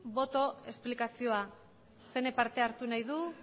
boto azalpena zeinek parte hartu nahi du